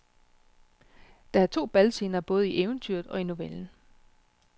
Der er to balscener både i eventyret og i novellen.